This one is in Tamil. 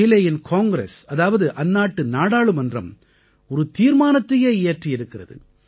சீலேயின் காங்கிரஸ் அதாவது அந்நாட்டு நாடாளுமன்றம் ஒரு தீர்மானத்தையே இயற்றியிருக்கிறது